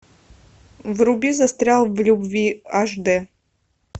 вруби застрял в любви аш дэ